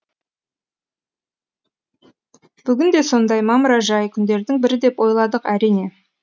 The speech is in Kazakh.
бүгін де сондай мамыражай күндердің бірі деп ойладық әрине